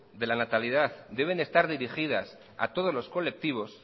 de la natalidad deben estar dirigidas a todos los colectivos